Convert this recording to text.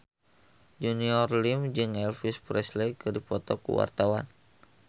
Junior Liem jeung Elvis Presley keur dipoto ku wartawan